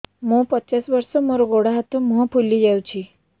ମୁ ପଚାଶ ବର୍ଷ ମୋର ଗୋଡ ହାତ ମୁହଁ ଫୁଲି ଯାଉଛି